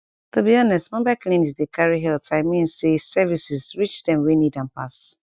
to be honest mobile clinics dey carry healthi mean say services reach dem wey need am pass